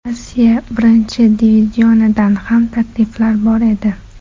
Rossiya Birinchi divizionidan ham takliflar bor edi.